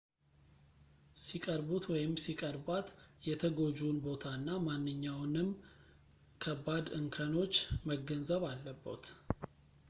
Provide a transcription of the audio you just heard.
ሲቅርቡት ወይም ሲቀርቧት የተጎጂውን ቦታ እና ማንኛውንምን ከባድ እንከኖች መገንዘብ አለቦት